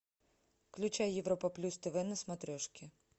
включай европа плюс тв на смотрешке